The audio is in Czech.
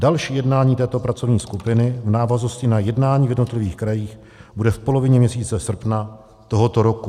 Další jednání této pracovní skupiny v návaznosti na jednání v jednotlivých krajích bude v polovině měsíce srpna tohoto roku.